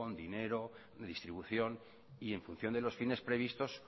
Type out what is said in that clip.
dinero distribución y en función de los fines previstos